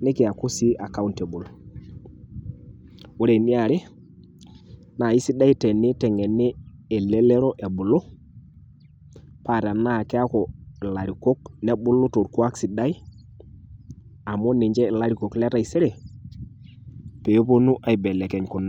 nikiaku sii accountable. Ore eniare naaisidai teneiteng'eni elelero ebulu paa tenaa keaku ilarikok nebulu torkwaak sidai amu ninche ilarikok le taisere peepuonu aibelekeny kuna.